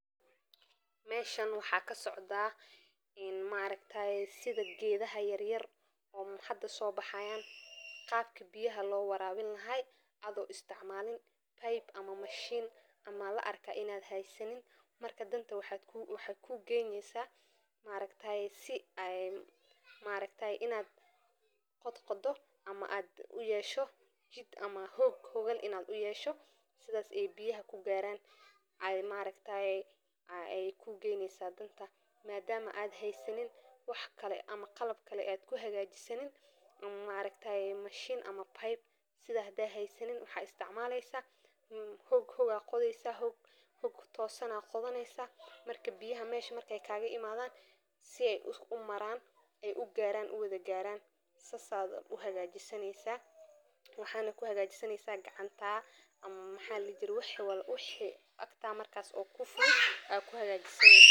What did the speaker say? Meshan waxaa kasocdaa in maraaragtaye sidha gedhaha yaryar oo hada sobaxayan qabki biyaha loo waraabin lahay adho isticmalin [c]pipe[c] ama mashin ama larkaa inaad haysanin marka danta waxey kugeyneysaa maaragtaye sii ay maataye inaad qodqodoo ama aad uyesho jid ama hoog sidhas aay biyaha kugaraan aay kugeyneysaa danta madamaa aad heysanin wax kale aad heysanin qalab kale aad kuhagajisatid maaragtaye mashin ama sidha hadii aad heysanin waxad qodhoneysaa hoog toosan sii marka biyaha kagaimadhan aay u maraan saas aad kuhagajisaneysaa waxana kuhagajisaneysaa gacantaa amaa maxa layirahdaa wixi agtaa oo kufudhud aa kuhagajisaneysaa.